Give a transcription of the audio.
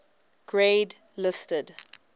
grade listed